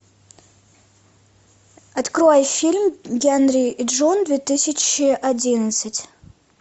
открой фильм генри и джун две тысячи одиннадцать